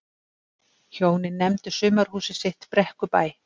hjónin nefndu sumarhúsið sitt brekkubæ